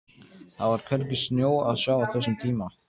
Það var hvergi snjó að sjá á þessum tíma.